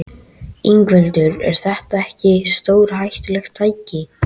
Ingveldur: Er þetta ekki stórhættulegt tæki?